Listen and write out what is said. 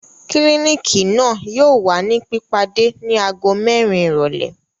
Kílinikì yóò wa ni pipade ni aago mẹrin irọlẹ